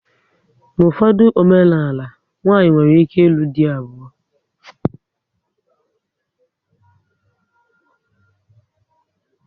N'ufodu omenala, nwanyị nwere ike ilu dị abuo